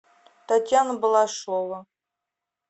татьяна балашова